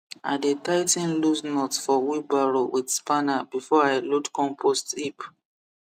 i dey tigh ten loose nut for wheelbarrow with spanner before i load compost heap